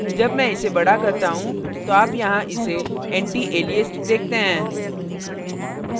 जब मैं इसे बड़ा करती हूँ तो आप यहाँ इसे antialiest antiएलिएस्ट देखते हैं